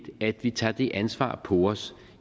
at vi tager det ansvar på os